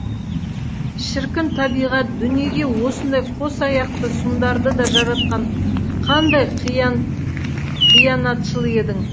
шіркін табиғат дүниеге осындай қос аяқты сұмдарды да жаратқан қандай қиянатшыл едің